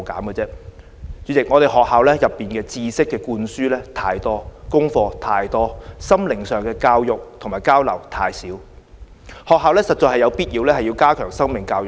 代理主席，學校內知識灌輸太多，功課太多，心靈上的教育和交流太少，學校實在有必要加強生命教育。